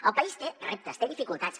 el país té reptes té dificultats